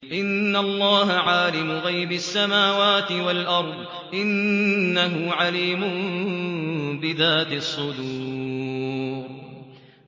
إِنَّ اللَّهَ عَالِمُ غَيْبِ السَّمَاوَاتِ وَالْأَرْضِ ۚ إِنَّهُ عَلِيمٌ بِذَاتِ الصُّدُورِ